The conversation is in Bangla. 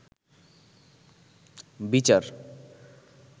বিচার